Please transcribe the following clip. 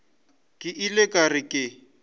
ke ile ka re ke